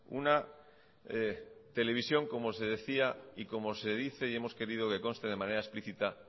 una televisión como se decía y como se dice y hemos querido que conste de manera explicita